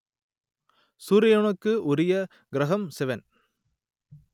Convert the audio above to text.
சூரியனுக்கு உரிய கிரகம் சிவன்